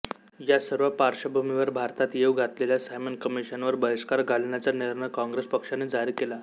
या सर्व पार्श्वभूमीवर भारतात येऊ घातलेल्या सायमन कमिशनवर बहिष्कार घालण्याचा निर्णय काँग्रेस पक्षाने जाहीर केला